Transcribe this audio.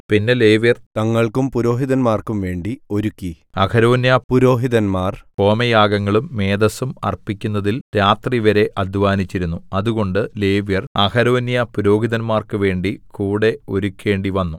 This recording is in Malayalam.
പിന്നെ ലേവ്യർ തങ്ങൾക്കും പുരോഹിതന്മാർക്കും വേണ്ടി ഒരുക്കി അഹരോന്യ പുരോഹിതന്മാർ ഹോമയാഗങ്ങളും മേദസ്സും അർപ്പിക്കുന്നതിൽ രാത്രിവരെ അദ്ധ്വാനിച്ചിരുന്നു അതുകൊണ്ട് ലേവ്യർ അഹരോന്യ പുരോഹിതന്മാർക്കു വേണ്ടി കൂടെ ഒരുക്കേണ്ടിവന്നു